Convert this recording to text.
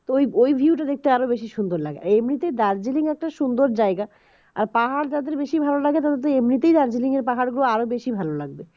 ওই ওই view টা দেখতে আরো বেশি সুন্দর লাগে আর এমনিতে দার্জিলিং একটা সুন্দর জায়গা আর পাহাড় যাদের বেশি ভালো লাগে তাদের তো এমনিতেই দার্জিলিং এর পাহাড় গুলো আরো বেশী ভালো লাগবে